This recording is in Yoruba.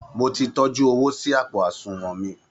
Mo ti tọ́jú owó sí àpò àṣùnwọn mi